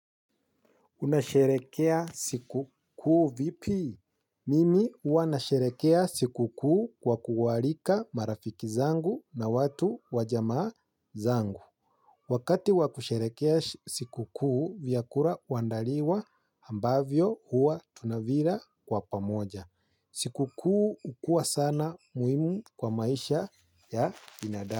Unasherehekea siku kuu vipi? Mimi huwa nasherehekea siku kuu kwa kuwaarika marafiki zangu na watu wa jamaa zangu. Wakati wakusherehekea siku kuu vyakula huandaliwa ambavyo huwa tunavila kwa pamoja. Siku kuu hukuwa sana muhimu kwa maisha ya binadamu.